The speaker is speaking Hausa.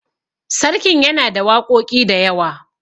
sarkin yana da waƙoƙi da yawa